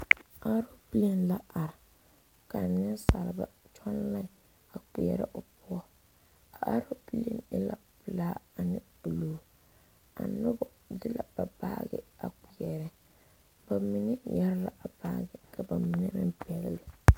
Aloopɛlee la are ka neŋsalba tɔŋ lai a kpeɛrɛ o poɔ a aloopɛlee e la pelaa ane bluu ka nobɔ de la ba baagi a kpeɛrɛ ba mine yɛre la a baagi ka ba mine meŋ pɛgle.